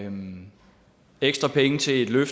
og nitten tyve